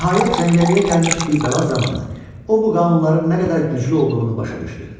Nəhayət cəngəlliyə gəlmiş bir bəla zamanı o bu qanunların nə qədər güclü olduğunu başa düşdü.